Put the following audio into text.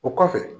O kɔfɛ